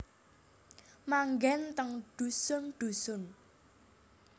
Manggen teng dhusun dhusun